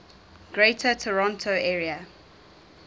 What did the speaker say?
greater toronto area